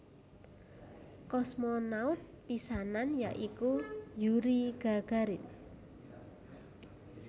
Kosmonaut pisanan ya iku Yuri Gagarin